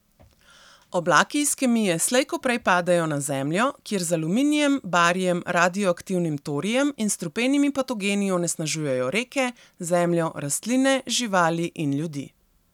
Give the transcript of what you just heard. Oblaki iz kemije slej ko prej padejo na zemljo, kjer z aluminijem, barijem, radioaktivnim torijem in strupenimi patogeni onesnažujejo reke, zemljo, rastline, živali in ljudi.